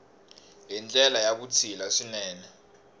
hi ndlela ya vutshila swinene